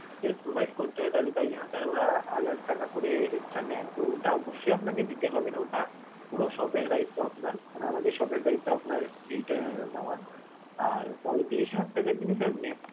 কিছু জিনিস provide করতে হয়, তাই জন্য sir ওরা হাজার টাকা করে extra নেয়, তো ওটা অবশ্যই আপনাকে দিতে হবে না ওটা পুরো shop এর দায়িত্ব আপনার, মানে আমাদের shop এর দায়িত্ব আপনার এইটা নেওয়ার. আর পঁয়ত্রিশ হাজার টাকা যিনি sir